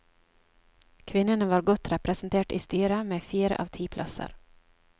Kvinnene var godt representert i styret, med fire av ti plasser.